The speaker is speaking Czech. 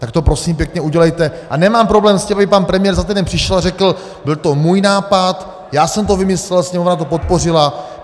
Tak to, prosím pěkně, udělejte a nemám problém s tím, kdyby pan premiér za týden přišel a řekl, byl to můj nápad, já jsem to vymyslel, Sněmovna to podpořila.